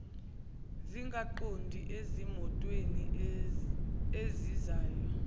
zingaqondi ezimotweni ezizayo